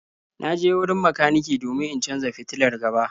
Na je wurin makaniki domin in canza fitilar gaba.